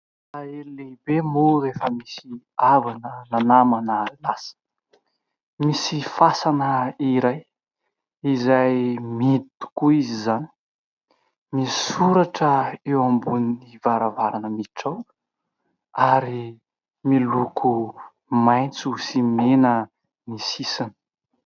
Alahelo lehibe moa rehefa misy havana na namana lasa. Misy fasana iray izay mihidy tokoa izy izany. Misy soratra eo ambonin'ny varavarana miditra ao ary miloko maitso sy mena ny sisiny.